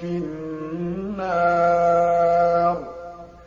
فِي النَّارِ